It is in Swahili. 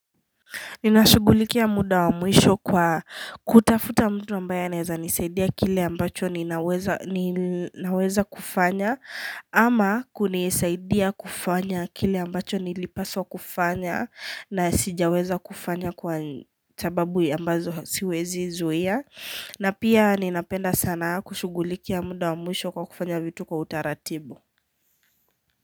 Ninashugulikia muda wa muisho kwa kutafuta mtu ambaye naweza nisaidia kile ambacho ninaweza kufanya ama kunisaidia kufanya kile ambacho nilipaso kufanya na sijaweza kufanya kwa sababu ambazo siwezi zuia na pia ninapenda sana kushugulikia muda wa muisho kwa kufanya vitu kwa utaratibu.